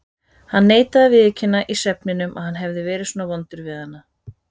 Hann neitaði að viðurkenna í svefninum að hann hefði verið svona vondur við hana.